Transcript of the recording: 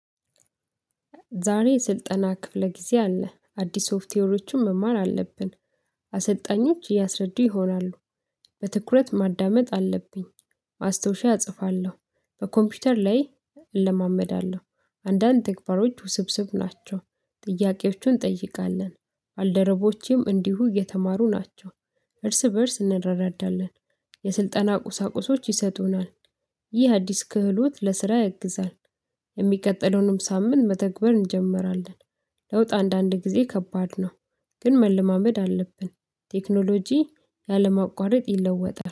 ዛሬ ስልጠና ክፍለ ጊዜ አለ። አዲስ ሶፍትዌሮችን መማር አለብን። አሰልጣኞች እያስረዱ ይሆናሉ። በትኩረት ማዳመጥ አለብኝ። አስተውሻ እጽፋለሁ። በኮምፒውተር ላይ እለማመዳለሁ። አንዳንድ ተግባሮች ውስብስብ ናቸው። ጥያቄዎቹን እንጠይቃለን። አልደረቦቼም እንዲሁ እየተማሩ ናቸው። እርስ በእርስ እንረራዳለን። የስልጠና ቁሳቁሶች ይሰጡናል። ይህ አዲስ ክህሎት ለስራ ያግዛል። የሚቀጥለውንም ሳምንት መተግበር እንጀምራለን። ለውጥ አንዳንድ ጊዜ ከባድ ነው። ግን መለማመድ አለብን። ቴክኖሎጂ ያለ ማቋረጥ ይለወጣል።